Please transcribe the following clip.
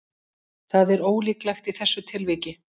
Það er ólíklegt í þessu tilviki.